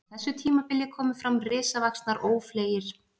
Á þessu tímabili komu fram risavaxnir ófleygir fuglar sem lifðu í þéttum skógum.